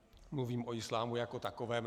Mluvím o islámu jako takovém.